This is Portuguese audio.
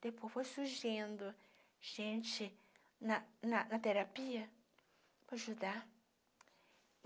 Depois foi surgindo gente na na na na terapia para ajudar.